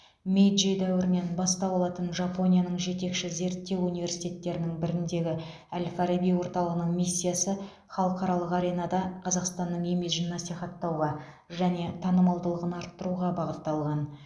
мэйджи дәуірінен бастау алатын жапонияның жетекші зерттеу университеттерінің біріндегі әл фараби орталығының миссиясы халықаралық аренада қазақстанның имиджін насихаттауға және танымалдығын арттыруға бағытталған